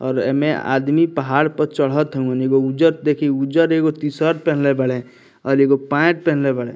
और एमे आदमी पहाड़ पर चढ़त हो एगो उज्जर देखी उज्जर एगो टी-शर्ट पहनले बाड़े और एगो पेंट पहनले बाड़े।